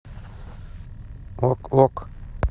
ок ок